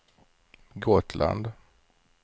Gotland